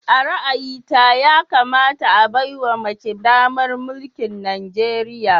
A ra'ayita, yakamata a baiwa mace damar mulkin Najeriya